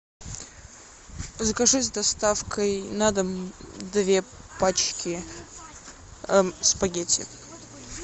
закажи с доставкой на дом две пачки спагетти